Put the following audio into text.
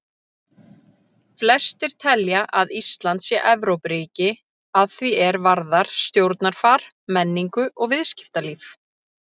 Flestir telja að Ísland sé Evrópuríki að því er varðar stjórnarfar, menningu og viðskiptalíf.